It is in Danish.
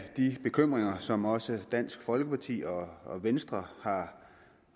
de bekymringer som også dansk folkeparti og og venstre har